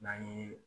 N'an ye